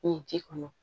Ni ji kɔnɔ